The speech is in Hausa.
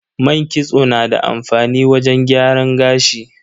Man kitso na da amfani wajen gyaran gashi.